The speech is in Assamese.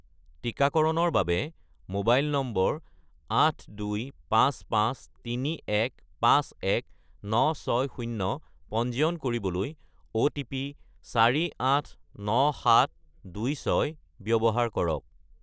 টিকাকৰণৰ বাবে মোবাইল নম্বৰ 82553151960 পঞ্জীয়ন কৰিবলৈ অ'টিপি 489726 ব্যৱহাৰ কৰক